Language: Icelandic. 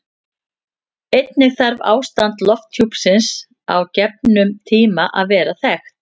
Einnig þarf ástand lofthjúpsins á gefnum tíma að vera þekkt.